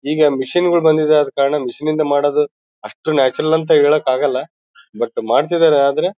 ಈಗ ಮೆಷಿನ್ ಗಳು ಬಂದಿದೆ ಆದ ಕಾರಣ ಮೆಷಿನ್ ನಿಂದ ಮಾಡೋದು ಅಷ್ಟು ನ್ಯಾಚುರಲ್ ಅಂತ ಹೇಳಕ್ಕಾಗಲ್ಲ ಬಟನ್ ಮಾಡ್ತಿದ್ದಾರೆ ಆದರೆ--